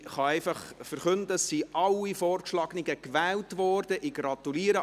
Ich kann einfach verkünden, dass alle Vorgeschlagenen gewählt worden sind.